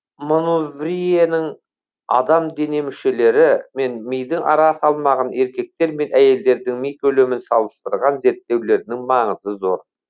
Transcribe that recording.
манувриенің адам дене мүшелері мен мидың ара салмағын еркектер мен әйелдердің ми көлемін салыстырған зерттеулерінің маңызы зор